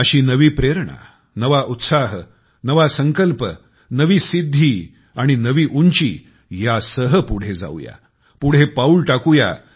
अशी नवी प्रेरणा नवा उत्साह नवा संकल्प नवी सिद्धी आणि नवी उंची यांसह पुढे जाऊया पुढे पाऊल टाकू या